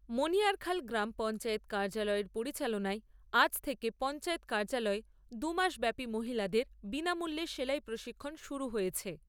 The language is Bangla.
মণিয়ারখাল গ্রাম পঞ্চায়েত কার্য্যলয়ের পরিচালনায় আজ থেকে পঞ্চায়েত কাৰ্য্যলয়ে দু মাসব্যাপী মহিলাদের বিনামূল্যে সেলাই প্রশিক্ষন শুরু হয়েছে।